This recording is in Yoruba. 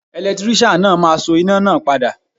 Ẹ̀lẹ́tíríṣàn náà máa so iná náà padà.